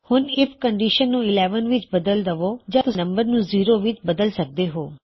ਹੁਣ IF condition ਨੂੰ 11 ਵਿੱਚ ਬਦਲ ਦਵੋ ਯਾ ਤੁਸੀਂ ਨਮ ਨੂੰ 0 ਵਿੱਚ ਬਦਲ ਸਕਦੇ ਹੋਂ